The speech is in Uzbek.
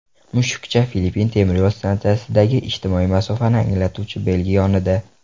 Mushukcha Filippin temiryo‘l stansiyasidagi ijtimoiy masofani anglatuvchi belgi yonida.